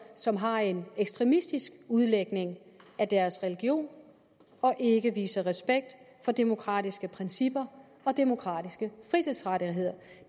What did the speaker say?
som har en ekstremistisk udlægning af deres region og ikke viser respekt for demokratiske principper og demokratiske frihedsrettigheder